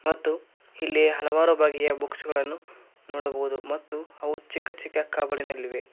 ಮತ್ತು ಇಲ್ಲಿ ಹಲವಾರು ಬಗೆಯ ಬುಕ್ಸ್ ಗಳನ್ನು ನೋಡಬಹುದು ಮತ್ತು ಅವುಗಳು ಚಿಕ್ಕ ಚಿಕ್ಕ ಕಬೋಡಿನಲ್ಲಿ ಇವೆ.